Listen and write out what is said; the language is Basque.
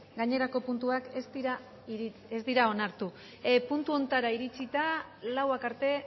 gainerako puntuak ez dira onartu puntu honetara iritsita laurak arte